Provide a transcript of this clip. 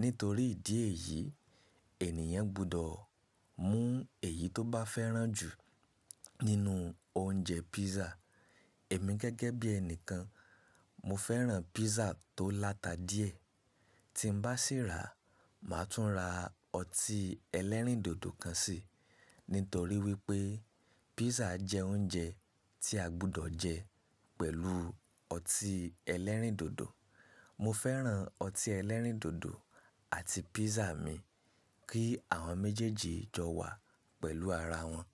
Nítorí ìdí èyí, ènìyàn gbọdọ̀ mú èyí tó bá fẹ́ràn jù nínú oúnjẹ písà. Èmi gẹ́gẹ́ bí ẹnìkan, mo fẹ́ràn písà tó láta díẹ̀. Tí n bá sì rà, màá tún ra ọtí ẹlẹ́rìndòdò kan sì. Nítorí wípé písà jẹ́ oúnjẹ tí a gbọdọ̀ jẹ pẹ̀lú ọtí ẹlẹ́rìndòdò. Mo fẹ́ràn ọtí ẹlẹ́rìndòdò àti písà mi kí àwọn méjèèjì jọ wà pẹ̀lú ara wọn.